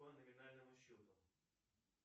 по номинальному счету